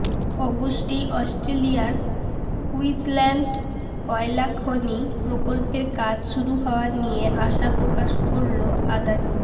অগস্টেই অস্ট্রেলিয়ার কুইন্সল্যান্ডে কয়লা খনি প্রকল্পের কাজ শুরু হওয়া নিয়ে আশা প্রকাশ করল আদানি